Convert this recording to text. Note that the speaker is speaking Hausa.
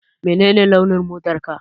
Menene launin motarka?